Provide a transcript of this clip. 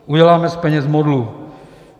Uděláme z peněz modlu.